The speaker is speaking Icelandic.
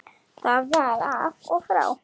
Það var af og frá.